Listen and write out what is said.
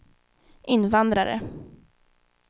invandrare